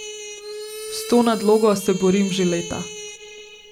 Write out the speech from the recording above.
S to nadlogo se borim že leta.